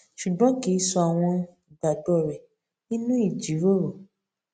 ṣùgbọn kì í sọ àwọn ìgbàgbọ rẹ nínú ìjìrórò